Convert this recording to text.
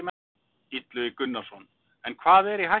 Illugi Gunnarsson: En hvað er í hættu?